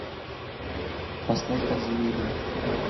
поставь подземелье